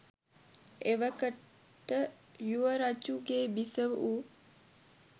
එවකට යුවරජුගේ බිසව වූ